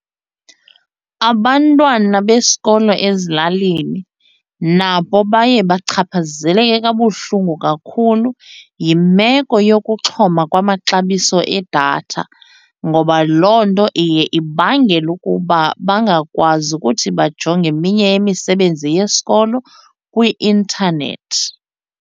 Abantwana besikolo ezilalini nabo baye bachaphazeleke kabuhlungu kakhulu yimeko yokuxhoma kwamaxabiso edatha ngoba loo nto iye ibangele ukuba bangakwazi ukuthi bajonge eminye imisebenzi yesikolo kwi-intanethi.